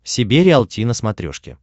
себе риалти на смотрешке